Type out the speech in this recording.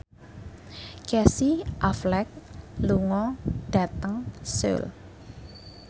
Casey Affleck lunga dhateng Seoul